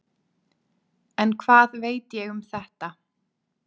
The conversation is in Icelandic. En hvað veit ég um þetta?